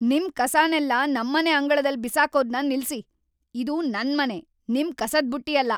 ನಿಮ್ ಕಸನೆಲ್ಲ ನಮ್ಮನೆ ಅಂಗಳದಲ್ಲಿ ಬಿಸಾಕೋದನ್ನ ನಿಲ್ಸಿ. ಇದು ನನ್ ಮನೆ, ನಿಮ್ ಕಸದ್ ಬುಟ್ಟಿ ಅಲ್ಲ!